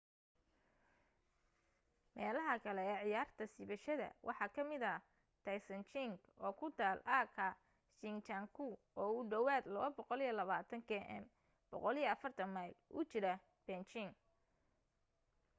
meelaha kale ee ciyaarta siibashada waxa ka mida taizicheng oo ku taal aaga zhangjiakou oo ku dhawaad 220 km 140 mayl u jira beijing